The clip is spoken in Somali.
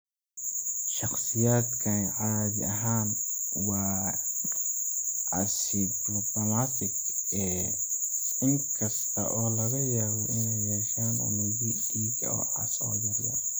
Shakhsiyaadkani caadi ahaan waa asymptomatic, in kasta oo laga yaabo inay yeeshaan unugyo dhiig oo cas oo yaryar.